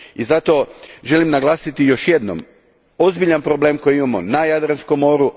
I zato želim naglasiti još jednom ozbiljan problem koji imamo na Jadranskom moru.